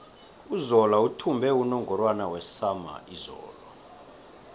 uzola uthumbe unungorwana wesama izolo